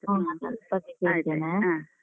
ಆಯ್ತ್ ಆಯ್ತು ಆ.